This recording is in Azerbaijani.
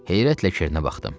Heyrətlə Kernə baxdım.